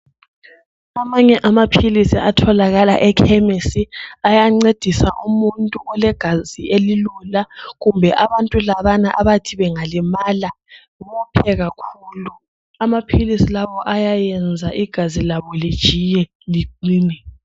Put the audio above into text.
Amanye amaphilizi atholakala ekhemisi ayancedisa umuntu olegazi elilula kumbe abantu labana abathi bengalimala bophe kakhulu amaphilizi lawo ayayenza igazi labo lijiye.